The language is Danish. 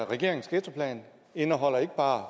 regeringens ghettoplan indeholder ikke bare